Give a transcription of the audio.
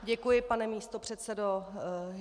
Děkuji, pane místopředsedo.